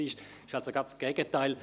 Es geschah also das Gegenteil: